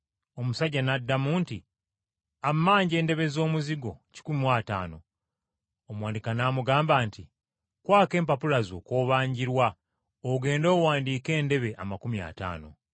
“Omusajja n’addamu nti, ‘Ammanja endebe z’omuzigo kikumi mu ataano.’ Omuwanika n’amugamba nti, ‘Kwako empapula zo kw’obanjirwa ogende owandiike endebe amakumi ataano.’